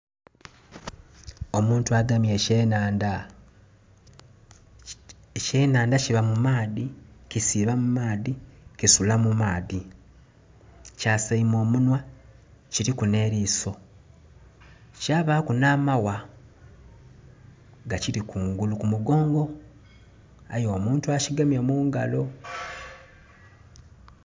Omuntu agemye eky' enhandha, eky' enhandha kiba mu maadhi kisiiba mu maadhi kisula mu maadhi kyasaime omunwa kiliku n'eliiso kyabaku n'amagha gakiri kungulu ku mugogo aye omuntu akigemye mugalo.